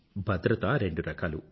భద్రత రెండు రకాలు